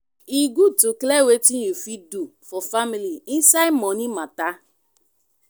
e good to clear wetin you fit do for family inside money mata.